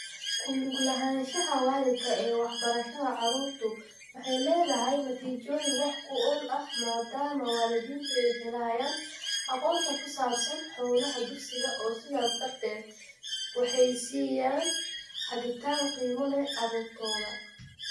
Ku lug lahaanshaha waalidka ee waxbarashada caruurtu waxay leedahay natiijooyin wax ku ool ah maadaama waalidiintu ay helayaan aqoonta ku saabsan hawlaha dugsiga oo sidaas darteed waxay siiyaan hagitaan qiimo leh carruurtooda.